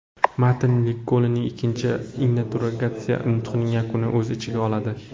Matn Linkolnning ikkinchi inauguratsiya nutqining yakunini o‘z ichiga oladi.